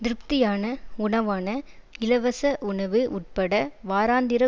திருப்தியான உணவான இலவச உணவு உட்பட வாராந்திர